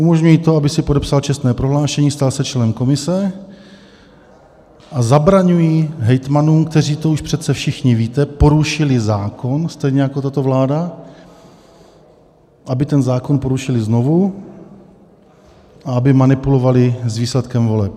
Umožňují to, abych si podepsal čestné prohlášení, stal se členem komise, a zabraňují hejtmanům, kteří, to už přece všichni víte, porušili zákon, stejně jako tato vláda, aby ten zákon porušili znovu a aby manipulovali s výsledkem voleb.